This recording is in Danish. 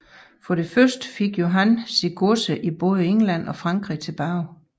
For det første fik Johan sine godser i både England og Frankrig tilbage